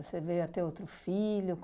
Você veio a ter outro filho?